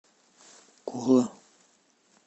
кола